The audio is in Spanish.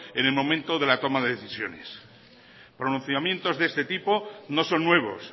en el momento de la toma de decisiones pronunciamientos de este tipo no son nuevos